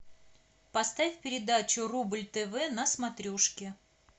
поставь передачу рубль тв на смотрешке